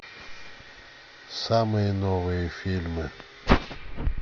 самые новые фильмы